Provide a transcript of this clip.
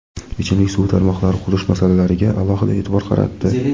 ichimlik suvi tarmoqlari qurish masalalariga alohida e’tibor qaratdi.